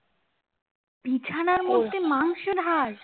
বিছানার মধ্যে মাংসের হাড়